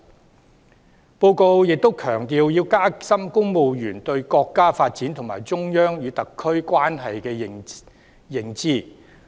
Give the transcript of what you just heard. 施政報告亦強調要加深公務員對國家發展和中央與特區關係的認識。